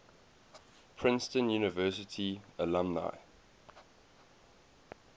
princeton university alumni